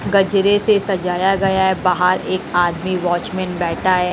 गजरे से सजाया गया है बाहर एक आदमी वाचमैन बैठा है।